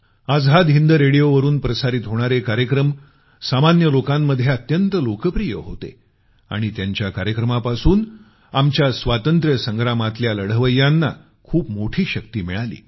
आझाद हिंद रेडिओवरून प्रसारित होणारे कार्यक्रम सामान्य लोकांमध्ये अत्यंत लोकप्रिय होते आणि त्यांच्या कार्यक्रमापासून आमच्या स्वातंत्र्य संग्रामातल्या लढवय्यांना खूप मोठी शक्ती मिळाली